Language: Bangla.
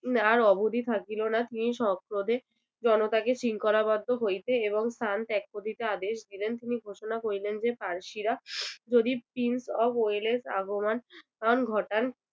না আর অবধি থাকিলো না জনতাকে শৃঙ্খলাবদ্ধ হইতে এবং স্থান ত্যাগ করিতে আদেশ দিলেন। তিনি ঘোষণা করিলেন যে ফার্সিরা যদি prince of wales এর আগমন ঘটান